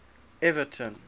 evaton